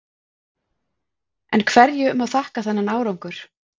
En hverju má þakka þennan árangur?